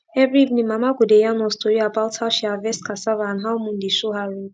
every evening mama go dey yarn us tori about how she harvest cassava and how moon dey show her road